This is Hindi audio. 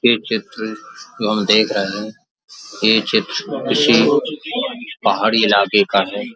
ये चित्र जो हम देख रहे हैं। ये चित्र किसी पहाड़ी इलाके का है।